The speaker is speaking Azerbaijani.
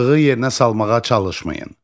Çıxığı yerinə salmağa çalışmayın.